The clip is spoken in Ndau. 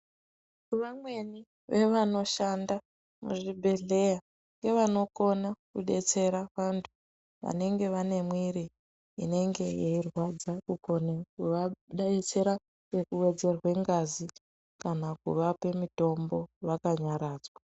Vamweni vevanoshanda muzvibhedhleya ngevanokona kudetsera vantu vanenge vanemwiiri inenge yeirwadza. Kukone kuvadetsera ngekuwedzerwe ngazi kana kuvape mitombo vakanyaradzwa.